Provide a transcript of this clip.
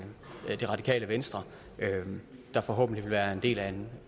det radikale venstre der forhåbentlig vil være en del af en